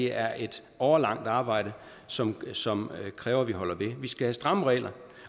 er et årelangt arbejde som som kræver at vi holder ved vi skal have stramme regler